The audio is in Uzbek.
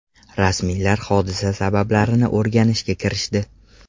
Rasmiylar hodisa sabablarini o‘rganishga kirishdi.